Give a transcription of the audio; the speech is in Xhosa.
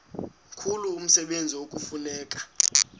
mkhulu umsebenzi ekufuneka